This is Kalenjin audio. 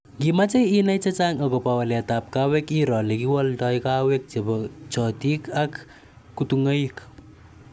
Ngimache inai chechang akoba waleet ab kaweek iroo lekiwaldai kaweek chebo chotiik ak kutung'aik